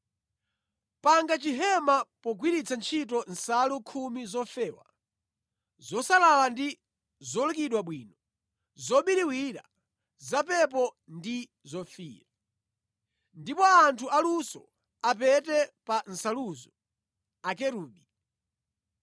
“Panga chihema pogwiritsa ntchito nsalu khumi zofewa, zosalala ndi zolukidwa bwino, zobiriwira, zapepo ndi zofiira. Ndipo anthu aluso apete pa nsaluzo Akerubi.